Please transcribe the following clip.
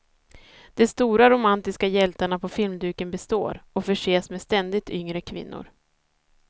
De stora romantiska hjältarna på filmduken består, och förses med ständigt yngre kvinnor.